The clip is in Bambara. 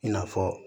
I n'a fɔ